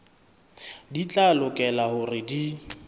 di tla lokela hore di